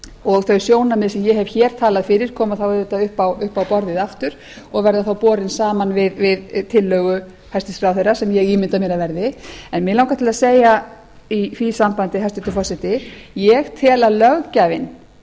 og þau sjónarmið sem ég hef hér talað fyrir koma þá auðvitað upp á borðið aftur og verða þá borin saman við tillögu hæstvirts ráðherra sem ég ímynda mér að verði mig langar til að segja í því sambandi hæstvirtur forseti ég tel að löggjafinn